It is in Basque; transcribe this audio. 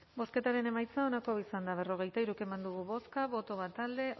bozketaren emaitza onako izan da berrogeita hiru eman dugu bozka bat boto alde